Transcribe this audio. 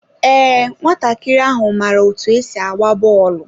Ee, nwatakịrị ahụ maara otú e si agba bọọlụ.